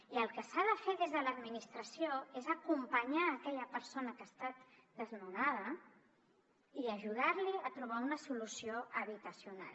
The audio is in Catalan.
i el que s’ha de fer des de l’administració és acompanyar aquella persona que ha estat desnonada i ajudar la a trobar una solució habitacional